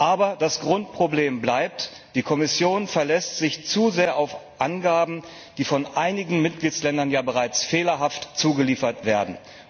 Aber das Grundproblem bleibt Die Kommission verlässt sich zu sehr auf Angaben, die von einigen Mitgliedsländern ja bereits fehlerhaft zugeliefert werden.